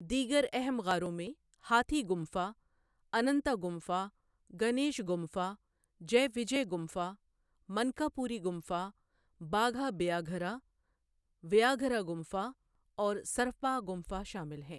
دیگر اہم غاروں میں ہاتھی گمفا، اننتا گمفا، گنیش گمفا، جے وجے گمفا، منکاپوری گمفا، باگھا بیاگھرا ویاگرا گمفا اور سرپا گمفا شامل ہیں۔